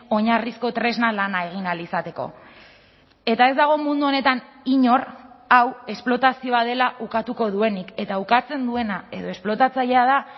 oinarrizko tresna lana egin ahal izateko eta ez dago mundu honetan inor hau esplotazioa dela ukatuko duenik eta ukatzen duena edo esplotatzailea da